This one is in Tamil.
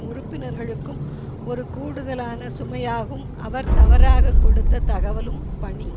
உறுப்பினர்களுக்கும் ஒரு கூடுதலான சுமையாகும் அவர் தவறாக கொடுத்த தகவலும் பணி